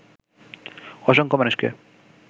অসংখ্য মানুষকে